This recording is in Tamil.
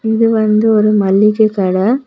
இது வந்து ஒரு மளிக கட.